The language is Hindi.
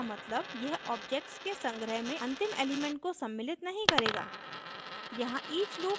नॉनइंक्लूसिव का मतलब यह ऑब्जेक्ट्स के संग्रह में अंतिम एलिमेंट को सम्मिलित नहीं करेगा